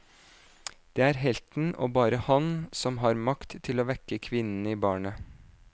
Det er helten og bare han som har makt til å vekke kvinnen i barnet.